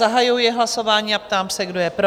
Zahajuji hlasování a ptám se, kdo je pro?